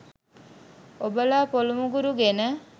ඔබලා පොලු මුගුරු ගෙන